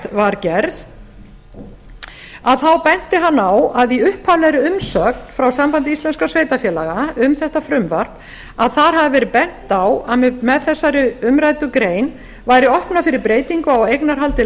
var gerð benti hann á að í upphaflegri umsögn frá sambandi íslenskra sveitarfélaga um þetta frumvarp hafi verið bent á að með þessari umræddu grein væri opnað fyrir breytingu á eignarhaldi